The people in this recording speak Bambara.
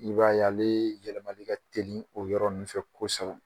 I b'a ye ale yɛlɛmali ka teli o yɔrɔ ninnu fɛ kosɛbɛn.